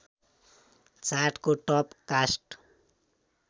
चार्टको टप कास्ट